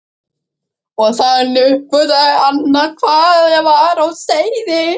Og þannig uppgötvaði Anna hvað var á seyði.